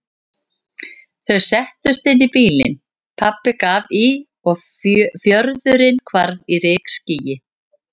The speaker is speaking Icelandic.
Þau settust inn í bílinn, pabbi gaf í og fjörðurinn hvarf í rykskýi.